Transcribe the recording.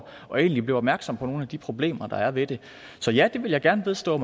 og jeg blev egentlig opmærksom på nogle af de problemer der er ved det så ja det vil jeg gerne vedstå